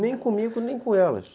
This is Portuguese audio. Nem comigo, nem com elas.